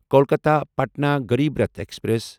Kolkata Patna Garib Rath express